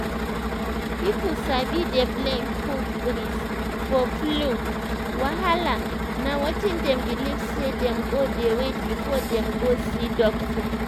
pipo sabi dey blame cold breeze for flu wahala na wetin dem belief say dem go dey wait before dem go see doctor.